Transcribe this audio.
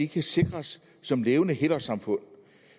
kan sikres som levende helårssamfund